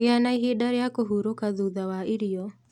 Gĩa na ihinda rĩa kũhurũka thutha wa irio